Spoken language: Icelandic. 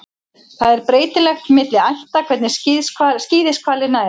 Það er breytilegt milli ætta hvernig skíðishvalir nærast.